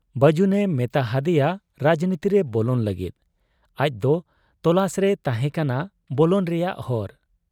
ᱵᱟᱹᱡᱩᱱᱮ ᱢᱮᱛᱟ ᱦᱟᱫᱮᱭᱟ ᱨᱟᱡᱽᱱᱤᱛᱤᱨᱮ ᱵᱚᱞᱚᱱ ᱞᱟᱹᱜᱤᱫ ᱟᱡᱫᱚ ᱛᱚᱞᱟᱥ ᱨᱮᱭ ᱛᱟᱦᱮᱸ ᱠᱟᱱᱟ ᱵᱚᱞᱚᱱ ᱨᱮᱭᱟᱜ ᱦᱚᱨ ᱾